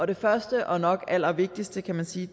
det første og nok allervigtigste kan man sige